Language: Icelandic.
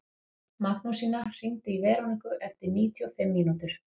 Magnúsína, hringdu í Veroniku eftir níutíu og fimm mínútur.